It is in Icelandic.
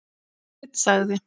Sveinn sagði.